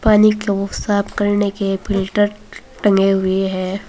पानी को साफ करने के फिल्टर टंगे हुए हैं।